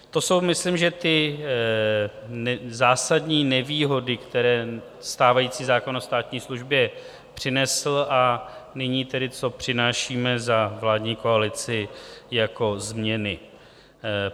To jsou, myslím, že ty zásadní nevýhody, které stávající zákon o státní službě přinesl, a nyní tedy, co přinášíme za vládní koalici jako změny.